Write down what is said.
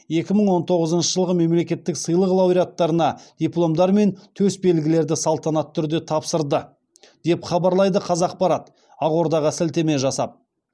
екі мың он тоғызыншы жылғы мемлекеттік сыйлық лауреаттарына дипломдар мен төс белгілерді салтанатты түрде тапсырды деп хабарлайды қазақпарат ақордаға сілтеме жасап